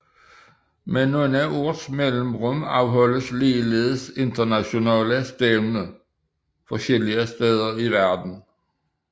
Med nogle års mellemrum afholdes ligeledes internationale stævner forskellige steder i verden